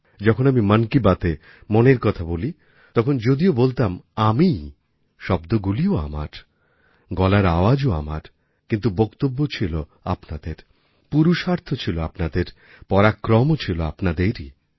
যখন আমি মন কী বাতএ মনের কথা বলি তখন যদিও বলতাম আমিই শব্দগুলিও আমার গলার আওয়াজও আমার কিন্তু বক্তব্য ছিল আপনাদের পুরুষার্থ ছিল আপনাদের পরাক্রমও ছিল আপনাদেরই